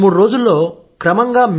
రెండు మూడురోజుల్లో క్రమంగా